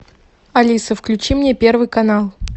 алиса включи мне первый канал